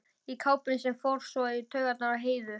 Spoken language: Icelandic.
Í kápunni sem fór svo í taugarnar á Heiðu.